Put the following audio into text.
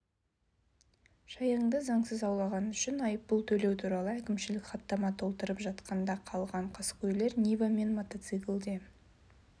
шаянды заңсыз аулағаны үшін айыппұл төлеу туралы әкімшілік хаттама толтырып жатқанда қалған қаскөйлер нива мен мотоциклде